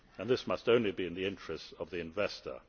tape. This must only be in the interests of the investor.